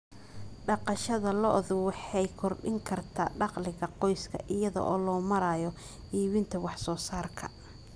Dhaqashada lo'du waxay kordhin kartaa dakhliga qoyska iyada oo loo marayo iibinta wax soo saarka.